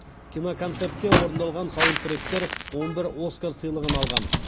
киноконцертте орындалған саундтректер он бір оскар сыйлығын алған